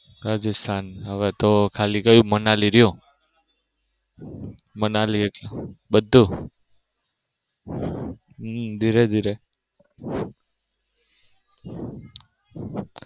રાજસ્થાન હવે તો ખાલી ક્યુ? મનાલી રિયુ મનાલી એક બધું હમ ધીરે ધીરે.